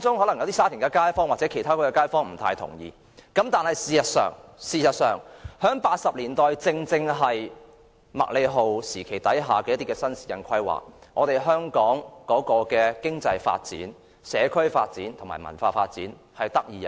可能有沙田街坊或其他地區的街坊不太同意，但1980年代的麥理浩時期新市鎮發展蓬勃，香港的經濟發展、社區發展和文化發展得以